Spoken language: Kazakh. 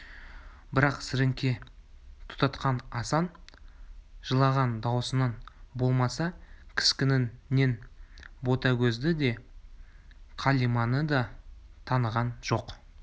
бірақ сіріңке тұтатқан асан жылаған даусынан болмаса кескінінен ботагөзді де қалиманы да таныған жоқ